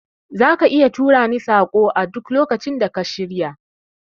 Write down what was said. Zaka iya turani saƙon a duk lokacin da ka shirya